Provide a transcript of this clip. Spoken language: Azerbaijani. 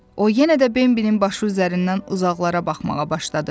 O yenə də Bembinin başı üzərindən uzaqlara baxmağa başladı.